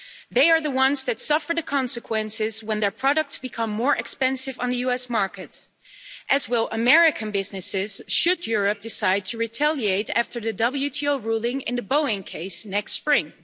They are the ones that suffer the consequences when their products become more expensive on the US market, as will American businesses, should Europe decide to retaliate after the WTO ruling in the Boeing case next spring.